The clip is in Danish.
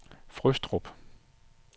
Frøstrup